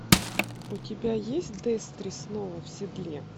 у тебя есть дестри снова в седле